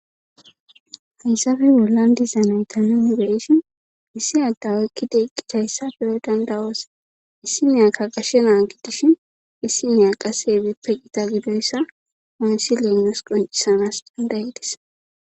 hayssafe wulan dizanaytaninibeshin issi addawaykki deeqqihayssa beyo dandawoosa issi miyakka qashe naa gidishin issi miya qase ebippe qita gidoyssa ooysi leennus qoncisanas dandaydis